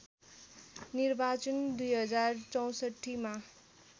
निर्वाचन २०६४ मा